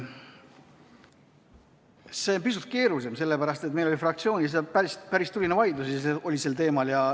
See on pisut keerulisem, sellepärast et meil oli fraktsioonis päris tuline vaidlus sel teemal.